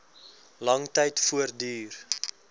lang tyd voortduur